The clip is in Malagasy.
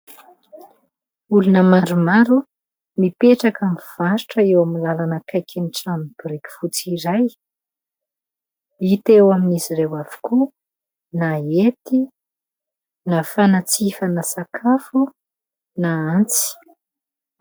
Olona maromaro mipetraka mivarotra eo amin'ny lalana akaikin'ny trano biriky fotsy iray. Hita eo amin'izy ireo avokoa na hety na fanatsifana sakafo na antsy.